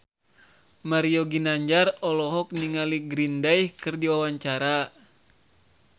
Mario Ginanjar olohok ningali Green Day keur diwawancara